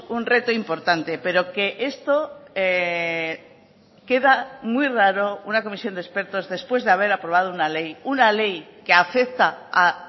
un reto importante pero que esto queda muy raro una comisión de expertos después de haber aprobado una ley una ley que afecta a